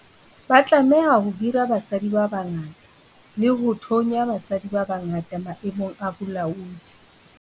Ba tlameha ho hira basadi ba bangata le ho thonya basadi ba bangata maemong a bolaodi.